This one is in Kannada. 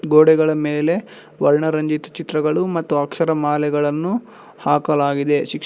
ಗೋಡೆಗಳ ಮೇಲೆ ವರ್ಣ ರಂಜಿತ ಚಿತ್ರಗಳು ಮತ್ತು ಅಕ್ಷರಮಾಲೆಗಳನ್ನು ಹಾಕಲಾಗಿದೆ ಶಿಕ್ಷ--